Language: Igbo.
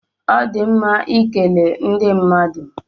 Ọ na-adị mma ịkele ndị mmadụ